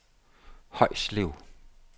Højslev